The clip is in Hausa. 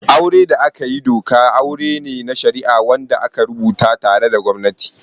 Auren da aka yi doka aure ne na shari'a wanda aka rubuta tare da gwamnati.